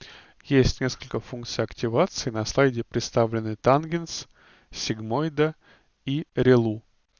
есть несколько функций активации на слайде представлены тангенс сигмоида и рилу